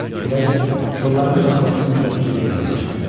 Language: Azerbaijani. Külək kollların şaqqıltısını özü ilə gətirib çıxartdı.